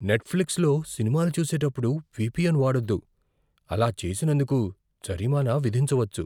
నెట్ఫ్లిక్స్లో సినిమాలు చూసేటప్పుడు విపిఎన్ వాడొద్దు. అలా చేసినందుకు జరిమానా విధించవచ్చు.